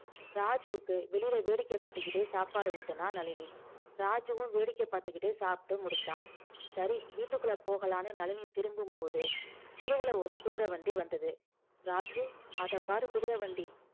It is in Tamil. ராஜுவுக்கு வெளியில வேடிக்கை காட்டிக்கிட்டே சாப்பாடு ஊட்டுனா நளினி ராஜுவும் வேடிக்கை பார்த்துக்கிட்டே சாப்பிட்டு முடிச்சான் சரி வீட்டுக்குள்ள போகலான்னு நளினி திரும்பும்போது தெருவுல ஒரு குதிரை வண்டி வந்தது ராஜு அத பாரு குதிரை வண்டி